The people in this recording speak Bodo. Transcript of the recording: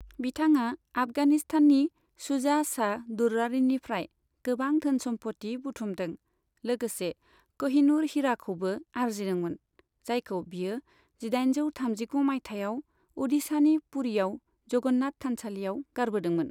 बिथाङा आफगानिस्ताननि शुजा शाह दुर्रानीनिफ्राय गोबां धोन सम्फथि बुथुमदों, लोगोसे क'हिनूर हीराखौबो आरजिदोंमोन, जायखौ बियो जिदाइनजौ थामजिगु मायथाइयाव अ'डिशानि पुरीआव जगन्नाथ थानसालियाव गारबोदोंमोन।